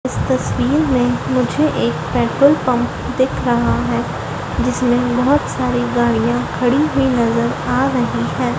इस तस्वीर में मुझे एक पेट्रोल पंप दिख रहा है जिसमें बहुत सारी गाड़ियां खड़ी हुई नजर आ रही है।